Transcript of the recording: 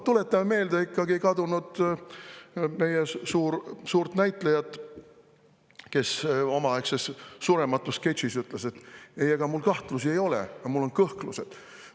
Tuletame meelde ikkagi ühte meie kadunud suurt näitlejat, kes omaaegses surematus sketšis ütles: "Ei, ega mul kahtlusi ei ole, aga mul on kõhklused.